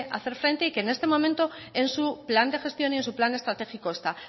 hacer frente y que en este momento en su plan de gestión y en su plan estratégico está